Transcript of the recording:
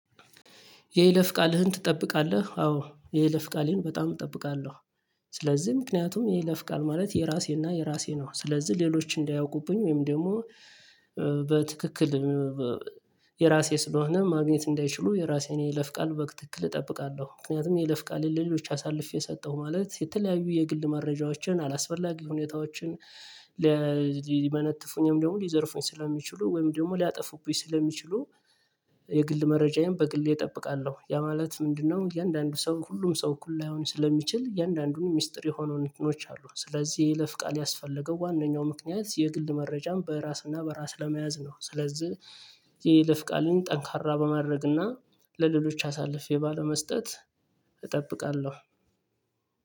የይለፍ ቃልህን ትጠብቃለህ አዎ የይለፍ ቃሌን በጣም እጠብቃለሁ። ስለዚህ ምክንያቱም ይሄ ለፍቃል ማለት የራሴና የራሴ ነው። ስለዚህ ሌሎች እንዳያውቁብኝ ወይም ደግሞ በትክክል። የራሴ ስለሆነ ማግኘት እንዳይችሉ የራሴን የይለፍ ቃል በትክክል እጠብቃለሁ። ምክንያቱም የይለፍ ቃል ለሎች አሳልፌ ሰጠሁ ማለት የተለያዩ የግል መረጃዎችን አላስፈላጊ ሁኔታዎችን። ሊመነጥፉኝም ደግሞ ሊዘርፉኝ ስለሚችሉ ወይም ደግሞ ሊያጠፉኝ ስለሚችሉ። የግል መረጃዬን በግል እጠብቃለሁ ያ ማለት ምንድነው? እያንዳንዱ ሰው ሁሉም ሰው እኩል ላይሆን ስለሚችል እያንዳንዱን ሚስጥር የሆኑ ነገሮች አሉ። ስለዚህ የይፍ ቃል ያስፈለገው ዋናው ምክንያት የግል መረጃም በራስና በራስ ለመያዝ ነው። ስለዚህ የይለፍቃልን ጠንካራ በማድረግና ለሌሎች አሳልፌ ባለመስጠት እጠብቃለሁ።